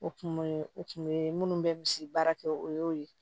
O kun ye o kun be munnu bɛ misi baara kɛ o y'o ye